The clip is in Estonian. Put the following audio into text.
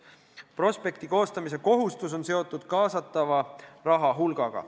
Prospekti koostamise kohustus on seotud kaasatava raha hulgaga.